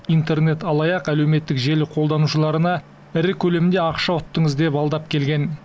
интернет алаяқ әлеуметтік желі қолданушыларына ірі көлемде ақша ұттыңыз деп алдап келген